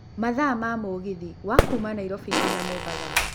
mathaa kuuma mũgithi wa kuuma Nairobi nginya mombatha